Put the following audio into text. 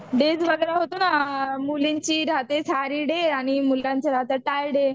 Days वगैरा होतो ना मुलींची राहते साडी डे आणि मुलांचं राहतं टाय डे.